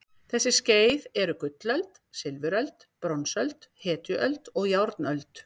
Þessi skeið eru gullöld, silfuröld, bronsöld, hetjuöld og járnöld.